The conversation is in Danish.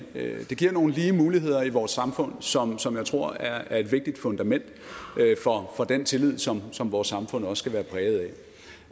det giver nogle lige muligheder i vores samfund som som jeg tror er et vigtigt fundament for den tillid som som vores samfund også skal være præget